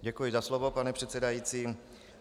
Děkuji za slovo, pane předsedající.